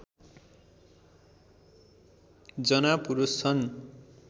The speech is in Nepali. जना पुरुष छन्